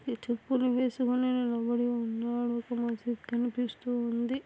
ఈ చెప్పులు వేసుకుని నిలబడి ఉన్నాడు ఇక్కడ మంచిగా కనిపిస్తూ ఉంది.